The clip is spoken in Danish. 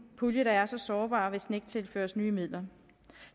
pulje der er så sårbar hvis den ikke tilføres nye midler